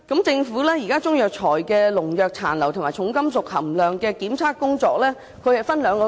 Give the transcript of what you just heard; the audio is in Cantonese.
政府會就中藥材的農藥殘留及重金屬含量分兩階段進行檢測。